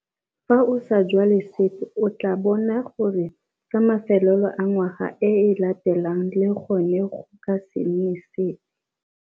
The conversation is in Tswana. Fa o sa jwale sepe o tla bona gore ka mafelelo a ngwaga e e latelang le gone go ka se nne sepe.